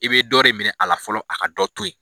I bɛ dɔ re minɛ a la fɔlɔ a ka dɔ to yen